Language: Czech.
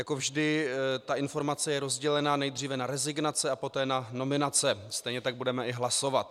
Jako vždy ta informace je rozdělena nejdříve na rezignace a poté na nominace, stejně tak budeme i hlasovat.